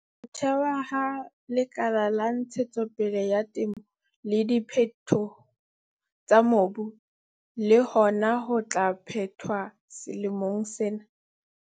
Ho thewa ha Lekala la Ntshetsopele ya Temo le Diphetoho tsa Mobu le hona ho tla phethwa selemong sena.